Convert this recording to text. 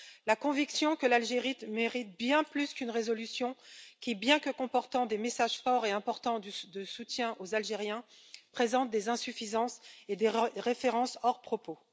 la conviction que l'Algérie mérite bien plus qu'une résolution qui, bien que comportant des messages forts et importants de soutien aux Algériens, présente des insuffisances et des références hors propos.